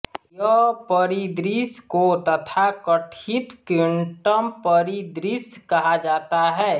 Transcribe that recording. यह परिदृश्य को तथाकथित क्विंटम परिदृश्य कहा जाता है